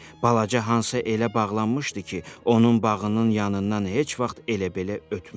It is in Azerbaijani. Balaca Hansa elə bağlanmışdı ki, onun bağının yanından heç vaxt elə-belə ötmürdü.